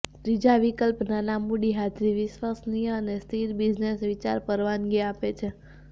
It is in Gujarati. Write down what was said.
ત્રીજા વિકલ્પ નાના મૂડી હાજરી વિશ્વસનીય અને સ્થિર બિઝનેસ વિચાર પરવાનગી આપે છે